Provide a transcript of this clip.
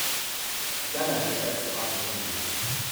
ghana go try to add more goals